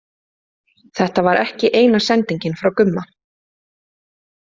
Þetta var ekki eina sendingin frá Gumma.